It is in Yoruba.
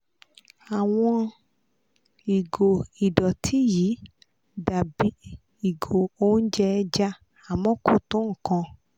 àwọn ìgò ìdọ̀tí yìí dà bí "ìgò oúnjẹ ẹja" àmọ́ kò tó nǹkan